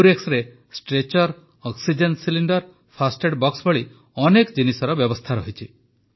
ଏମ୍ବୁରେକ୍ସରେ stretcher oxygen cylinder first aid box ଭଳି ଅନେକ ଜିନିଷର ବ୍ୟବସ୍ଥା ରହିଛି